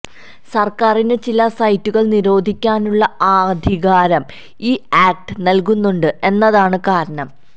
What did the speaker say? സര്ക്കാരിന് ചില സൈറ്റുകള് നിരോധിക്കാനുള്ള അധികാരം ഈ ആക്റ്റ് നല്കുന്നുണ്ട് എന്നതാണ് കാരണം